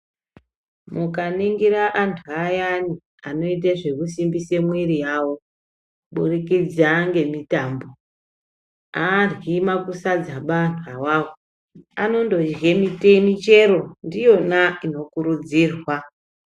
Mukaningira antu ayani anoita zvekusumbisa mwiri yawo kuburikidza nemitambo aryi makusadza antu awawo anondorya michero ndiyona inokurudzirwa.